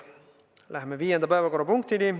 Läheme viienda päevakorrapunkti juurde.